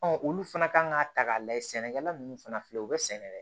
olu fana kan k'a ta k'a lajɛ sɛnɛkɛla ninnu fana filɛ u bɛ sɛnɛ yɛrɛ